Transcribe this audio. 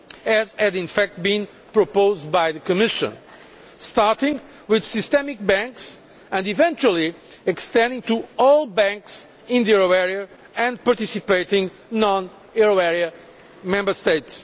as had in fact been proposed by the Commission starting with systemic banks and eventually extending to all banks in the euro area and participating non euro area Member States.